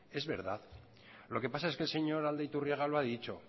es verdad lo que pasa es que el señor aldaiturriaga lo ha dicho